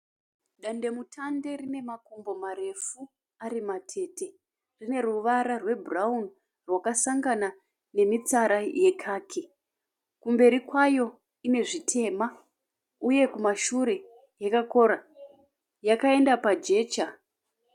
Dandemutande rine makumbo marefu ari matete. Rine ruvara rwe bhurauni rwakasangana nemitsara ye khaki. Kumberi kwayo inezvitema uye kumashure yaka kora. Yakaenda pa jecha.